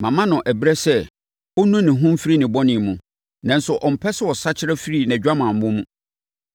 Mama no ɛberɛ sɛ ɔnnu ne ho mfiri ne bɔne mu, nanso ɔmpɛ sɛ ɔsakyera firi nʼadwamammɔ mu.